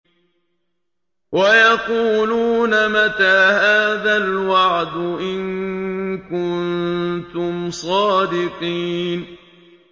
وَيَقُولُونَ مَتَىٰ هَٰذَا الْوَعْدُ إِن كُنتُمْ صَادِقِينَ